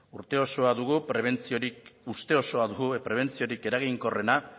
uste osoa dugu prebentziorik eraginkorrena